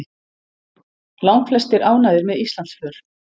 Langflestir ánægðir með Íslandsför